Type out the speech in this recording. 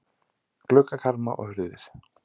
Gluggakarma og hurðir.